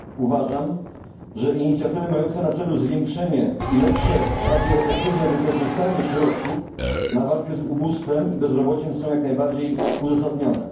Uważam, że inicjatywy mające na celu zwiększenie i lepsze, bardziej efektywne wykorzystanie środków na walkę z ubóstwem i bezrobociem są jak najbardziej uzasadnione.